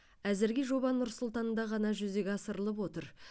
әзірге жоба нұр сұлтанда ғана жүзеге асырылып отыр